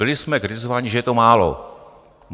Byli jsme kritizováni, že je to málo.